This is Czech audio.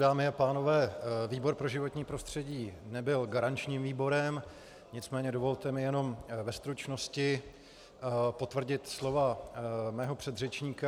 Dámy a pánové, výbor pro životní prostředí nebyl garančním výborem, nicméně dovolte mi jenom ve stručnosti potvrdit slova mého předřečníka.